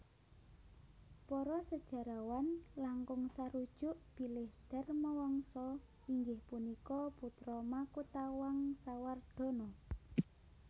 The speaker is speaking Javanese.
Para sejarawan langkung sarujuk bilih Dharmawangsa inggih punika putra Makutawangsawardhana